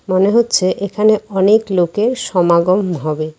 মনে হচ্ছে এখানে অনেক লোকের সমাগম হবে।